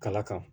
Kala kan